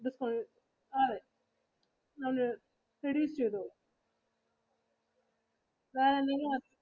നാളെ കാരണം ഞങ്ങള് reduce ചെയ്തു. കാരണം നിങ്ങടെ husband